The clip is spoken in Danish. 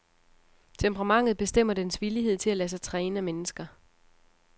Temperamentet bestemmer dens villighed til at lade sig træne af mennesker.